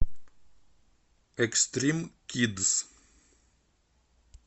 экстрим кидс